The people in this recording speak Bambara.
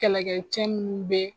Kɛlɛkɛcɛ minnu be